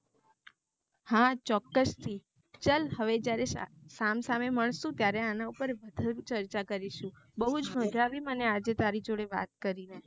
હા ચોક્કસ થી હવે જયારે સામ સામે મલસું ત્યારે વધુ માં ચર્ચા કરીશું મને બવ મજા આઈ તારી સાથે વાત કરી ને